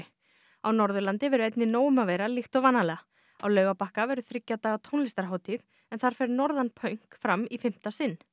á Norðurlandi verður einnig nóg um að vera líkt og vanalega á Laugarbakka verður þriggja daga tónlistarhátíð en þar fer Norðanpaunk fram í fimmta sinn